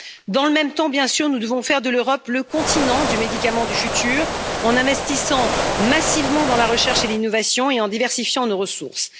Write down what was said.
Dans le même temps, bien sûr, nous devons faire de l'Europe le continent du médicament du futur, en investissant massivement dans la recherche et l'innovation et en diversifiant nos ressources.